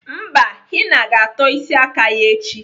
Mba, Henna ga-atọ isi aka ya echi.